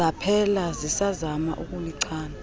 zaphela sisazama ukulichana